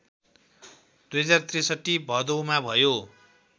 २०६३ भदौमा भयो